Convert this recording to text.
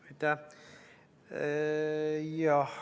Aitäh!